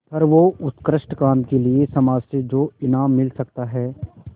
सर्वोत्कृष्ट काम के लिए समाज से जो इनाम मिल सकता है